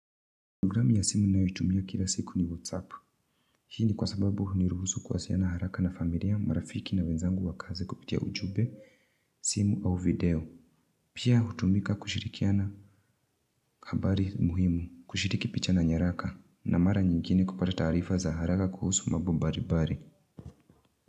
Program ya simu nayotumia kila siku ni whatsapp. Hii ni kwa sababu huniruhusu kuwasiliana haraka na familia marafiki na wenzangu wa kazi kupitia ujumbe simu au video Pia hutumika kushirikiana habari muhimu kushiriki picha na nyaraka na mara nyingine kupata taarifa za haraka kuhusu mambo mbalimbali.